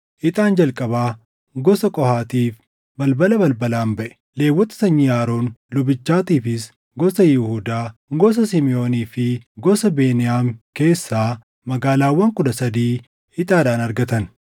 Ixaan jalqabaa gosa Qohaatiif balbala balbalaan baʼe. Lewwota sanyii Aroon lubichaatiifis gosa Yihuudaa, gosa Simiʼoonii fi gosa Beniyaam keessaa magaalaawwan kudha sadii ixaadhaan argatan.